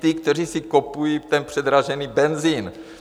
Ti, kteří si kupují ten předražený benzin.